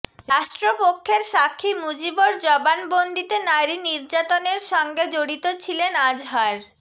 রাষ্ট্রপক্ষের সাক্ষী মুজিবর জবানবন্দিতে নারী নির্যাতনের সঙ্গে জড়িত ছিলেন আজহার